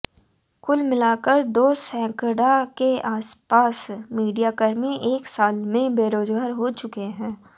कुल मिलाकर दो सैकड़ा के आसपास मीडियाकर्मी एक साल में बेरोजगार हो चुके हैं